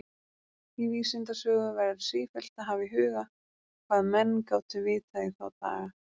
Í vísindasögu verður sífellt að hafa í huga, hvað menn gátu vitað í þá daga.